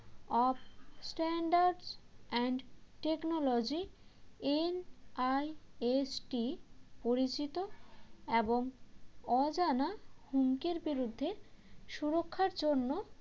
of standards and technology NIST পরিচিত এবং অজানা হুমকির বিরুদ্ধে সুরক্ষার জন্য